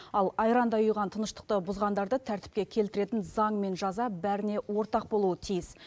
ал айрандай ұйыған тыныштықты бұзғандарды тәртіпке келтіретін заң мен жаза бәріне ортақ болуы тиіс